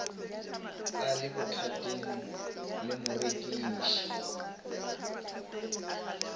a le bothateng le morekiši